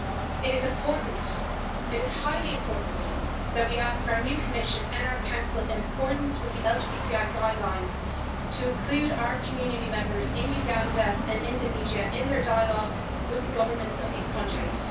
It is important, it is highly important, that we ask our new Commission and our Council, in accordance with the LGBTI guidelines, to include our community members in Uganda and Indonesia in their dialogues with the governments of these countries.